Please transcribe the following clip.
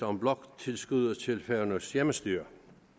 om bloktilskuddet til færøernes hjemmestyre